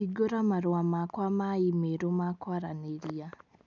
Hingũra marũa makwa ma i-mīrū ma kwaranĩria